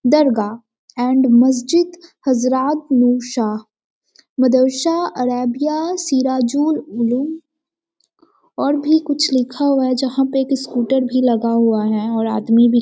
दरगाह and मस्जिद हज़रात मूशा मदरसा ऐरबिया सिराजुल और भी कुछ लिखा हुआ है जहाँ पर स्कूटर भी लगा हुआ है और आदमी भी --